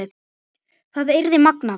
Það yrði magnað.